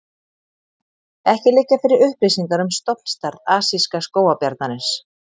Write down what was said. Ekki liggja fyrir upplýsingar um stofnstærð asíska skógarbjarnarins.